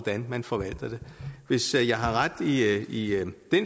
hvordan man forvalter det hvis jeg har ret i i den